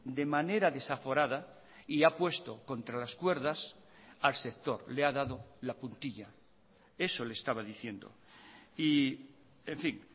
de manera desaforada y ha puesto contra las cuerdas al sector le ha dado la puntilla eso le estaba diciendo y en fin